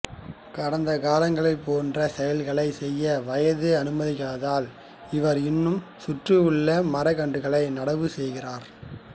கடந்த காலங்களைப் போன்ற செயல்களைச் செய்ய வயது அனுமதிக்காததால் இவர் இன்னும் சுற்றியுள்ள மரக்கன்றுகளை நடவு செய்கிறார்